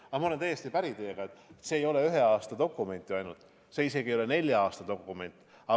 Aga ma olen täiesti päri, et see ei ole ühe aasta dokument ju ainult, see ei ole isegi mitte nelja aasta dokument.